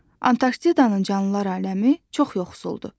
Antarktidada canlılar aləmi çox yoxsuldur.